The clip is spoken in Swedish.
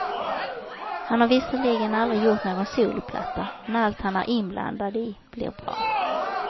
Han har visserligen aldrig gjort någon soloplatta, men allt han är inblandad i blir bra.